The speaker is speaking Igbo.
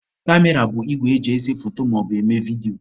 kamera bụ igwe eji ese foto maọbụ eme vidio.